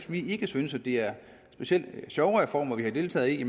vi ikke synes at det er specielt sjove reformer vi har deltaget i